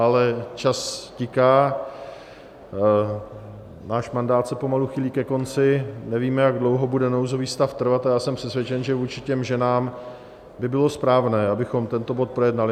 Ale čas tiká, náš mandát se pomalu chýlí ke konci, nevíme, jak dlouho bude nouzový stav trvat, a já jsem přesvědčen, že vůči těm ženám by bylo správné, abychom tento bod projednali.